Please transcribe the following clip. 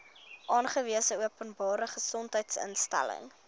aangewese openbare gesondheidsinstelling